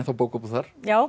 bókabúð þar já